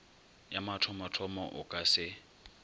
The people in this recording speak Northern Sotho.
ya mathomothomo o ka se